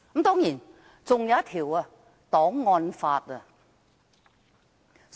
當然，還有一項檔案法。